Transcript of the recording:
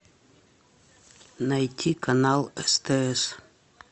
найти канал стс